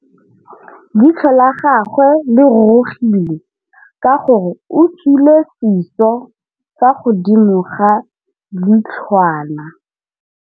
Leitlhô la gagwe le rurugile ka gore o tswile sisô fa godimo ga leitlhwana.